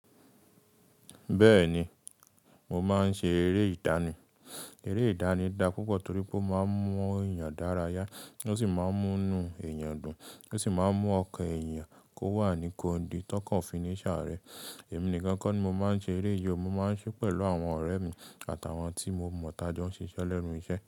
Bẹ́ẹ̀ni, mo máa ń ṣe eré ìdánì. Eré ìdánì da púpọ̀ torí pé ó máa ń mú èèyàn dárayà, ó sì máa ń mú inú èèyàn dùn, ó sì máa ń mú ọkàn èèyàn kó wà ní kondi tọkàn ofiní ṣàa rẹ. Èmi nìkan kọ́ ni mo máa ń ṣe eré yìí, mo máa ń ṣe pẹ̀lú àwọn ọ̀rẹ́ mi àtàwọn tí mo mọ̀ tájọ́ ń ṣiṣẹ́ lẹ́nú ìṣe.